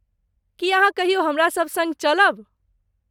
की अहाँ कहियो हमरा सभ सङ्ग चलब?